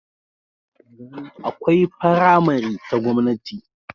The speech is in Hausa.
Akwai faramari ta gwamnati